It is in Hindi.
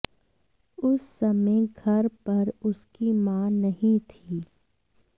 उस समय घर पर उसकी मां नहीं थी